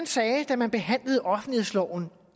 sagde da man behandlede offentlighedsloven